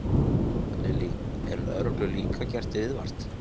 Lillý: Er lögreglu líka gert viðvart?